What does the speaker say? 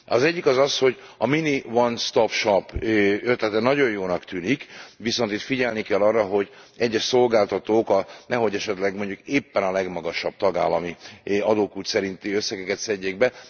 Az egyik az az, hogy a mini one stop shop ötlete nagyon jónak tűnik, viszont itt figyelni kell arra, hogy az egyes szolgáltatók nehogy esetleg mondjuk éppen a legmagasabb tagállami adókulcs szerinti összegeket szedjék be.